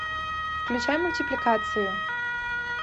включай мультипликацию